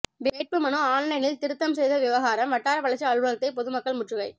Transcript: வேட்பு மனு ஆன்லைனில் திருத்தம் செய்த விவகாரம் வட்டார வளர்ச்சி அலுவலகத்தை பொதுமக்கள் முற்றுகை